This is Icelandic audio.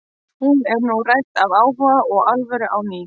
Hún er nú rædd af áhuga og alvöru á ný.